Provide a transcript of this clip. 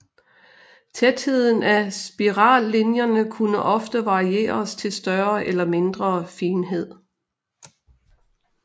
Tætheden af spirallinjerne kunne ofte varieres til større eller mindre finhed